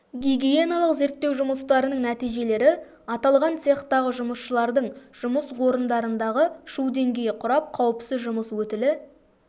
гигиеналық зерттеу жұмыстарының нәтижелері аталған цехтағы жұмысшылардың жұмыс орындарындағы шу деңгейі құрап қауіпсіз жұмыс өтілі